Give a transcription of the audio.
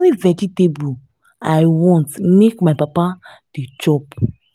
na only vegetable i want make my papa dey chop